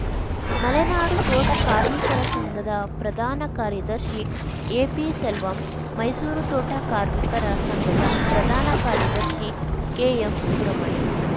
ಮಲೆನಾಡು ತೋಟ ಕಾರ್ಮಿಕರ ಸಂಘದ ಪ್ರಧಾನ ಕಾರ್ಯದರ್ಶಿ ಎಪಿಸೆಲ್ವಂ ಮೈಸೂರು ತೋಟ ಕಾರ್ಮಿಕರ ಸಂಘದ ಪ್ರಧಾನ ಕಾರ್ಯದರ್ಶಿ ಕೆಎಂ ಸುಬ್ರಮಣಿ